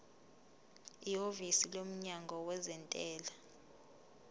ihhovisi lomnyango wezentela